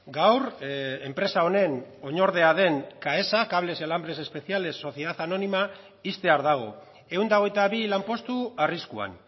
gaur enpresa honen oinordea den caesa cables y alambres especiales sociedad anónima ixtear dago ehun eta hogeita bi lanpostu arriskuan